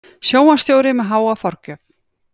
Sjónvarpsstjóri með háa forgjöf